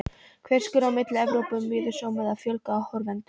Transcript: Hver skilur á milli Evrópu og miðjumoðs eða fjölgar áhorfendum?